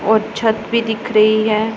और छत भी दिख रही है।